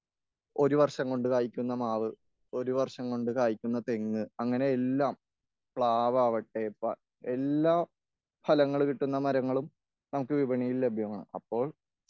ഒരു വർഷം കൊണ്ട് കായ്ക്കുന്ന മാവ്.ഒരു വർഷം കൊണ്ട് കായ്ക്കുന്ന തെങ്.അങ്ങനെ എല്ലാം, പ്ലാവാവട്ടെ എല്ലാ ഫലങ്ങളും കിട്ടുന്ന മരങ്ങളും നമുക്ക് വിപണിയിൽ ലഭ്യമാണ്.അപ്പോൾ